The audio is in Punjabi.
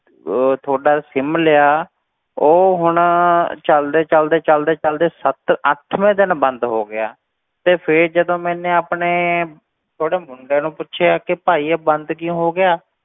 ਉਹ ਤੁਹਾਡਾ sim ਲਿਆ, ਉਹ ਹੁਣ ਚੱਲਦੇ ਚੱਲਦੇ ਚੱਲਦੇ ਚੱਲਦੇ ਸੱਤ ਅੱਠਵੇਂ ਦਿਨ ਬੰਦ ਹੋ ਗਿਆ, ਤੇ ਫਿਰ ਜਦੋਂ ਮੈਨੇ ਆਪਣੇ ਛੋਟੇ ਮੁੰਡੇ ਨੂੰ ਪੁੱਛਿਆ ਕਿ ਭਾਈ ਇਹ ਬੰਦ ਕਿਉਂ ਹੋ ਗਿਆ,